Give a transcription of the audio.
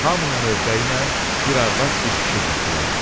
Hamının növbəyinə bir arvad, bir kişi düzdülər.